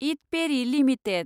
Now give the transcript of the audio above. इद पेरि लिमिटेड